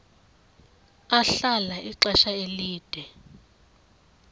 ahlala ixesha elide